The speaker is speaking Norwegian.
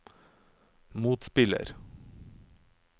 motspiller